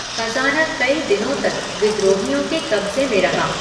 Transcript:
खजाना कई दिनों तक विद्रोहियों के कब्जे में रहा।